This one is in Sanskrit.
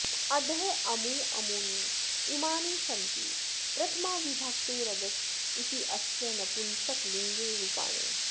अदः अमू अमूनि इमानि सन्ति प्रथमाविभक्तेरदस् इत्यस्य नपुंसकलिङ्गे रूपाणि